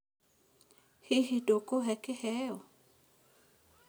Hihi ndũkũhe kĩheo?